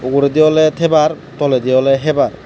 uguredi oley tebar toledi oley hebar.